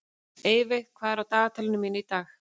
Eyveig, hvað er á dagatalinu mínu í dag?